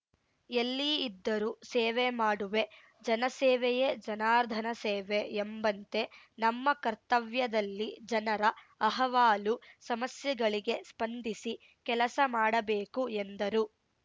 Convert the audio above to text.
ಎಲ್ಲಿ ಇದ್ದರೂ ಸೇವೆ ಮಾಡುವೆ ಜನಸೇವೆಯೇ ಜನಾರ್ಧನ ಸೇವೆ ಎಂಬಂತೆ ನಮ್ಮ ಕರ್ತವ್ಯದಲ್ಲಿ ಜನರ ಅಹವಾಲು ಸಮಸ್ಯೆಗಳಿಗೆ ಸ್ಪಂದಿಸಿ ಕೆಲಸ ಮಾಡಬೇಕು ಎಂದರು